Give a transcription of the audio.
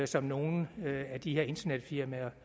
som nogle af de her internetfirmaer